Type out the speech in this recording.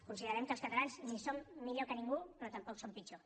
considerem que els catalans no som millors que ningú però tampoc som pitjors